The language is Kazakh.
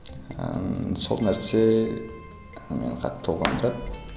ыыы сол нәрсе ы қатты толғандырады